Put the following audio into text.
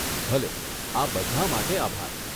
ભલે, આ બધાં માટે આભાર.